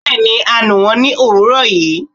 Bẹẹni a nú wón ni owúrò yíí